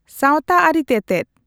ᱥᱟᱶᱛᱟᱼᱟᱹᱨᱤ ᱛᱮᱛᱮᱫ